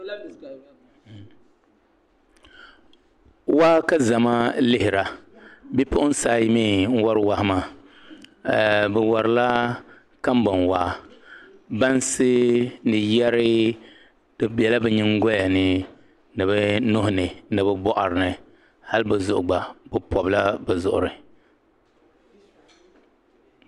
Waa ka zama lihira bi puɣinsi ayi mi n wari wahi maa, biwarila ka bɔn waa, bansi ni yeri dibela bi nyiŋgoyani ni bi nuhi ni nibi bɔɣirini hali bizuɣu gba bi pɔbla bi zuɣuri.